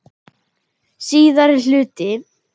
Síðari hluti